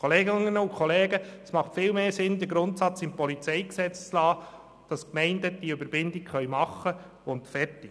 Kolleginnen und Kollegen, es ist viel sinnvoller, den Grundsatz im PolG stehen zu lassen, wonach Gemeinden die Weiterverrechnung vornehmen können, und fertig.